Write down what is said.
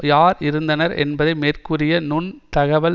யார் இருந்தனர் என்பதை மேற்கூறிய நுண் தகவல்